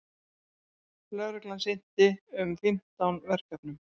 Lögreglan sinnti um fimmtán verkefnum